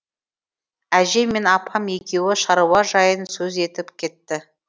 әжем мен апам екеуі шаруа жайын сөз етіп кетті